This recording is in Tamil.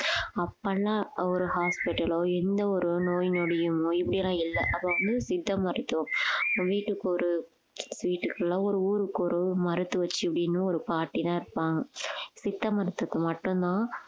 அப்பெல்லாம் ஒரு hospital ஓ எந்த ஒரு நோய் நொடியும் இல்லை அப்ப வந்து சித்த மருத்துவம் வீட்டுக்கு ஒரு வீட்டுக்கு இல்லை ஒரு ஊருக்கு ஒரு மருத்துவச்சி இப்படின்னு ஒரு பாட்டிதான் இருப்பாங்க சித்த மருந்துக்கு மட்டும்தான்